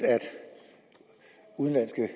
udenlandske